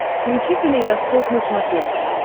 включи калейдоскоп на смотрешке